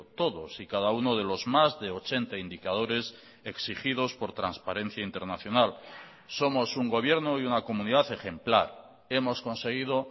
todos y cada uno de los más de ochenta indicadores exigidos por transparencia internacional somos un gobierno y una comunidad ejemplar hemos conseguido